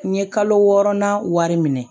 N ye kalo wɔɔrɔnan wari minɛ